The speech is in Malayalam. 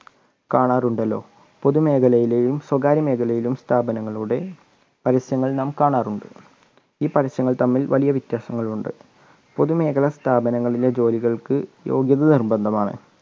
കാണാറുണ്ടല്ലോ പൊതുമേഖലയിലെയും സ്വകാര്യ മേഖലയിലും സ്ഥാപനങ്ങളുടെ പരസ്യങ്ങൾ നാം കാണാറുണ്ട് ഈ പരസ്യങ്ങൾ തമ്മിൽ വലിയ വ്യത്യാസങ്ങളുണ്ട് പൊതുമേഖല സ്ഥാപനങ്ങളിലെ ജോലികൾക്ക് യോഗ്യത നിർബന്ധമാണ്.